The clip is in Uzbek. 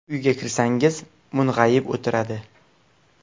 Uyga kirsangiz mung‘ayib o‘tiradi.